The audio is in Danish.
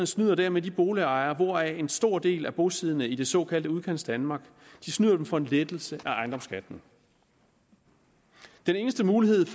snyder dermed de boligejer hvoraf en stor del er bosiddende i det såkaldte udkantsdanmark de snyder dem for en lettelse af ejendomsskatten den eneste mulighed